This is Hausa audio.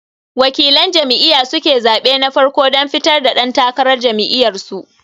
Waƙilan jam'iya suke zaɓe na farko dan fitar da ɗan takarar jam'iyar su